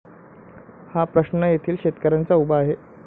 हा प्रश्न येथील शेतकऱ्यांचा उभा आहे.